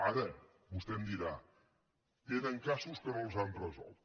ara vostè em dirà tenen casos que no els han resolt